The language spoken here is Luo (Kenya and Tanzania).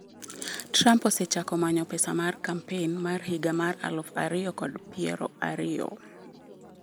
Trump osechako manyo pesa mar kampen mar higa mar aluf ariyo kod piero ariyo